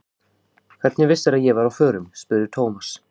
Hvernig vissirðu að ég væri á förum? spurði Thomas.